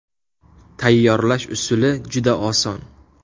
Tayyorlash usuli juda oson.